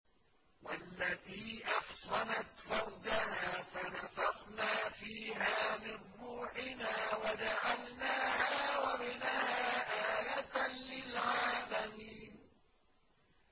وَالَّتِي أَحْصَنَتْ فَرْجَهَا فَنَفَخْنَا فِيهَا مِن رُّوحِنَا وَجَعَلْنَاهَا وَابْنَهَا آيَةً لِّلْعَالَمِينَ